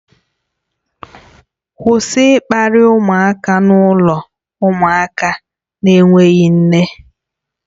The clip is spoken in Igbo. Kwụsị ịkparị ụmụaka n'ụlọ ụmụaka na-enweghị nne